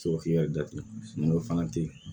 Sɔrɔ k'i yɛrɛ datugu n'o fana tɛ ye